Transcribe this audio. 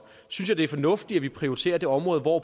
synes jeg det er fornuftigt at prioritere et område hvor